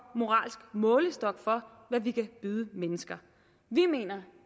moralsk målestok for hvad vi kan byde mennesker vi mener